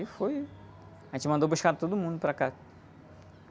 E foi... A gente mandou buscar todo mundo para cá.